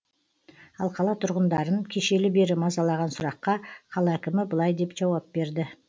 ал қала тұрғындарын кешелі бері мазалаған сұраққа қала әкімі былай деп жауап берді